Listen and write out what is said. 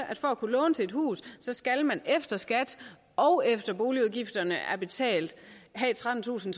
at for at kunne låne til et hus skal man efter skat og efter at boligudgifterne er betalt have trettentusind